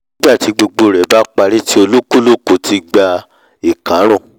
nígbàtí gbogbo rẹ̀ bá parí tí olúkálùkù ti gba ìkárùn